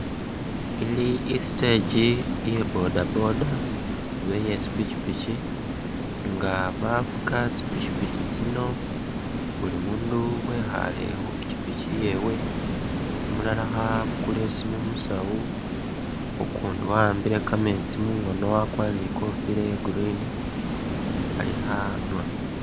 Ili i’stage iya boda boda oba iye tsi pikyipikyi nga bafuka tsi’pikyipikyi tsino buli mundu wekhale khu pikyipikyi yewe ,umulala kha’bukula isimu musawu ukumdi waambile kameetsi mungono wakwarire ni kofila iya green ali khanwa.